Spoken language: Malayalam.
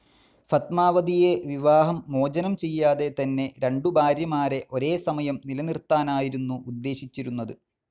ഫത്മാവതിയെ വിവാഹം മോചനം ചെയ്യാതെ തന്നെ രണ്ടു ഭാര്യമാരെ ഒരേ സമയം നിലനിർത്താനായിരുന്നു ഉദ്ദേശിച്ചിരുന്നത്.